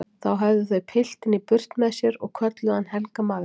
Þá höfðu þau piltinn í burt með sér og kölluðu hann Helga magra.